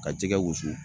Ka jɛgɛ wusu